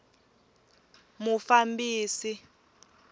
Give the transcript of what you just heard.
mufambisi